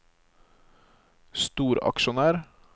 storaksjonær